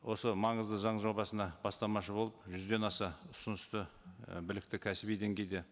осы маңызды заң жобасына бастамашы болып жүзден аса ұсынысты і білікті кәсіби деңгейде